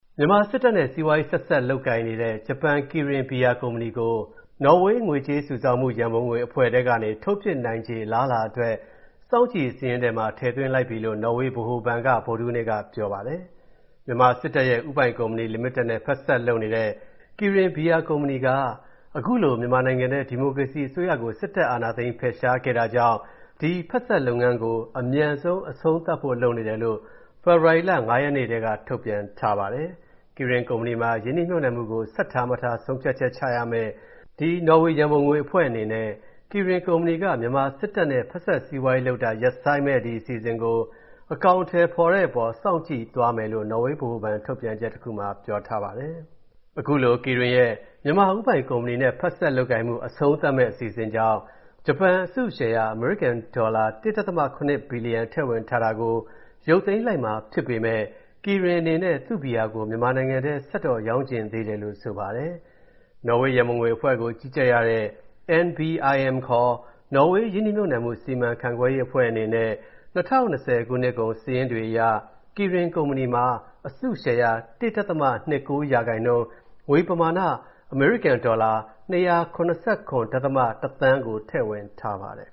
မြန်မာစစ်တပ်နဲ့ စီးပွားရေးဆက်စပ်လုပ်ကိုင်နေတဲ့ ဂျပန် Kirin ဘီယာကုမ္ပဏီကို နော်ဝေး ငွေကြေးစုဆောင်းမှု ရန်ပုံငွေအဖွဲ့ထဲကနေ ထုတ်ပစ်နိုင်ခြေ အလားအလာအတွက် စောင့်ကြည့်စာရင်းထဲမှာ ထည့်သွင်းလိုက်ပြီလို့ နော်ဝေးဗဟိုဘဏ်က ဗုဒ္ဓဟူးနေ့ကပြောပါတယ်။ မြန်မာစစ်တပ်ရဲ့ ဦးပိုင်ကုမ္ပဏီလီမီတက်နဲ့ ဖက်စပ်လုပ်နေတဲ့ Kirin ဘီယာကုမ္ပဏီက အခုလို မြန်မာနိုင်ငံထဲ ဒီမိုကရေစီအစိုးရကို စစ်တပ်က အာဏာသိမ်းဖယ်ရှားခဲ့တာကြောင့် ဒီဖက်စပ်လုပ်ငန်းကို အမြန်ဆုံး အဆုံးသတ်ဖို့လုပ်နေတယ်လို့ ဖေဖော်ဝါရီလ ၅ ရက်နေ့က ထုတ်ပြန်ထားပါတယ်။ Kirin ကုမ္ပဏီမှာ ရင်းနှီးမြှုပ်နှံမှုကို ဆက်ထားမထား ဆုံးဖြတ်ချက်ချရမယ့် နော်ဝေးရန်ပုံငွေအဖွဲ့အနေနဲ့ Kirin ကုမ္ပဏီက မြန်မာစစ်တပ်နဲ့ ဖက်စပ်စီးပွားရေးလုပ်တာ ရပ်ဆိုင်းမယ့်အစီအစဉ်ကို အကောင်အထည်ဖော်တဲ့အပေါ် စောင့်ကြည့်သွားမယ်လို့ နော်ဝေးဗဟိုဘဏ် ထုတ်ပြန်ချက်တခုမှာ ပြောထားပါတယ်။ အခုလို Kirin ရဲ့ မြန်မာဦးပိုင်ကုမ္ပဏီနဲ့ ဖက်စပ်လုပ်ကိုင်မှု အဆုံးသတ်မယ့်အစီအစဉ်ကြောင့် ဂျပန်အစုရှယ်ရာ အမေရိကန်ဒေါ်လာ ၁.၇ ဘီလီယံ ထည့်ဝင်ထားတာကို ရုပ်သိမ်းလိုက်မှာဖြစ်ပေမဲ့ Kirin အနေနဲ့ သူ့ဘီယာကို မြန်မာနိုင်ငံထဲ ဆက်တော့ရောင်းချင်သေးတယ်လို့ ဆိုပါတယ်။ နော်ဝေရန်ပုံငွေအဖွဲ့ကို ကြီးကြပ်ရတဲ့ NBIM ခေါ် နော်ဝေး ရင်းနှီးမြှုပ်နံှမှု စီမံရေးအဖွဲ့အနေနဲ့ ၂၀၂၀ နှစ်ကုန်အထိစာရင်းတွေအရ Kirin ကုမ္ပဏီမှာ အစုရှယ်ရာ ၁.၂၉% ၊ ငွေပမာဏ အမေရိကန်ဒေါ်လာ ၂၇၇.၁ သန်းကို ထည့်ဝင်ထားပါတယ်